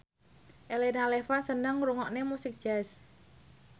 Elena Levon seneng ngrungokne musik jazz